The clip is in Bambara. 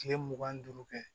Kile mugan ni duuru kɛ